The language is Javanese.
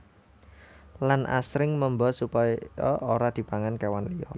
Lan asring memba supaya ora dipangan kéwan liya